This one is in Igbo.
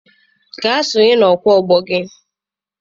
Gaa sonye na ọkwa afọ gị!